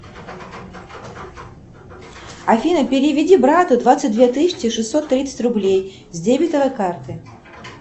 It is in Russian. афина переведи брату двадцать две тысячи шестьсот тридцать рублей с дебетовой карты